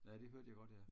ja det hørte jeg godt ja